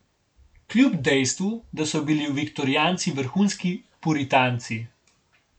Kljub dejstvu, da so bili viktorijanci vrhunski puritanci.